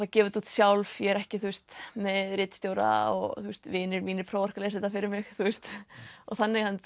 að gefa þetta út sjálf ég er ekki með ritstjóra og vinir mínir prófarkalesa þetta fyrir mig þannig að hún